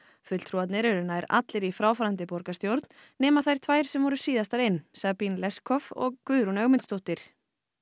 fulltrúarnir eru nær allir í fráfarandi borgarstjórn nema þær tvær sem voru síðastar inn Sabine Leskopf og Guðrún Ögmundsdóttir